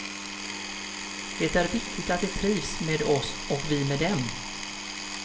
Det är viktigt att de trivs med oss och vi med dem.